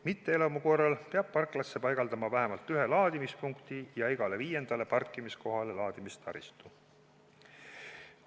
Mitteelamu korral peab parklasse paigaldama vähemalt ühe laadimispunkti ja igale viiendale parkimiskohale laadimistaristu.